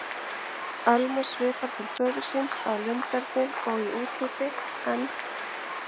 Ölmu svipar til föður síns að lunderni og í útliti, en